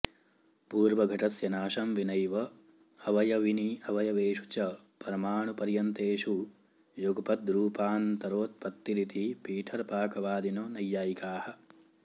पूर्वघटस्य नाशं विनैव् अवयविनि अवयवेषु च परमाणुपर्यन्तेषु युगपद्रूपान्तरोत्पत्तिरिति पिठरपाकवादिनो नैयायिकाः